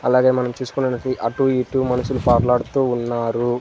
అలాగే మనం చూసుకున్నట్టైతే అటూ ఇటూ మనుషులు పాకులాడుతూ ఉన్నారు.